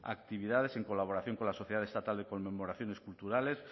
actividades en colaboración con la sociedad estatal de conmemoraciones culturales